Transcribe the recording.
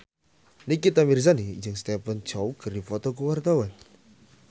Nikita Mirzani jeung Stephen Chow keur dipoto ku wartawan